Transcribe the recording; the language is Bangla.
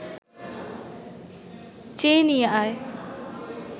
চেয়ে নিয়ে আয়